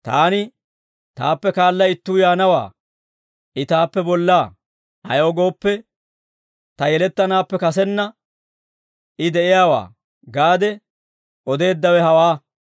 Taani, ‹Taappe kaala ittuu yaanawaa; I taappe bollaa; ayaw gooppe, ta yelettanaappe kasenna I de'iyaawaa› gaade odeeddawe hawaa.